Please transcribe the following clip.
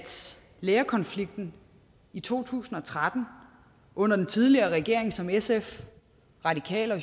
lærerkonflikten i to tusind og tretten under den tidligere regering som sf radikale og